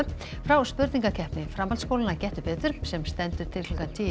frá spurningakeppni framhaldsskólanna Gettu betur sem stendur til klukkan tíu